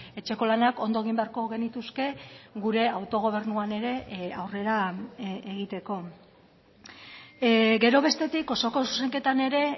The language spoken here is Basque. etxeko lanak ondo egin beharko genituzke gure autogobernuan ere aurrera egiteko gero bestetik osoko zuzenketan ere